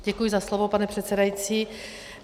Děkuji za slovo, pane předsedající.